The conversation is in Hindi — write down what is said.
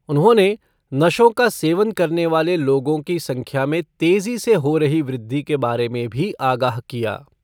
उन्होंने नशों का सेवन करने वाले लोगों की संख्या में तेजी से हो रही वृद्धि के बारे में भी आगाह किया।